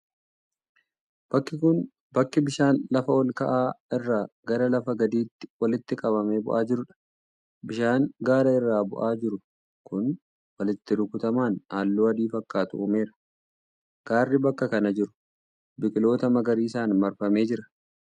Bakki kun, bakki bishaan lafa ol ka'aa irraa gara lafa gadiitti walitti qabamee bu'aa jiruu dha. Bishaan gaara irraa bu'aa jiru kun walitti rukutaman haalluu adii fakkaatu uumeera. Gaarri bakka kana jiru biqiloota magariisan marfamee jira.